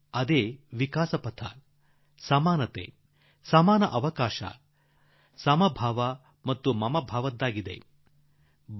ಅದೇ ವಿಕಾಸದ ಸಮಾನತೆಯ ಸಮಾನ ಅವಕಾಶದ ಸಮಭಾವನ ಅನುಕಂಪದ ಹಾದಿ